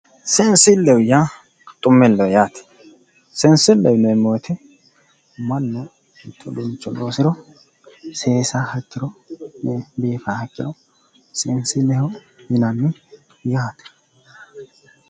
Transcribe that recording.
Seensilleho yaa xumilleho yaate seensilleho yineemmo woyiite mannu mitto uduunnicho loosiro seesaaha ikkiro biifaaha ikkiro seensilleho yinanni yaate